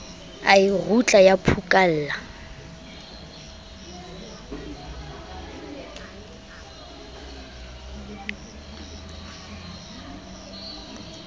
a e rutla ya phukalla